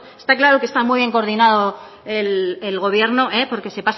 está claro que está muy bien coordinado el gobierno porque